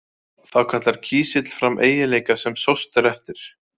Þá kallar kísill fram eiginleika sem sóst er eftir.